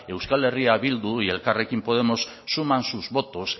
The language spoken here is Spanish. euskal herria bildu y elkarrekin podemos suman sus votos